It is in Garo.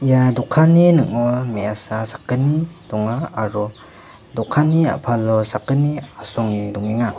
ia dokanni ning·o me·asa sakgni donga aro dokanni a·palo sakgni asonge dongenga.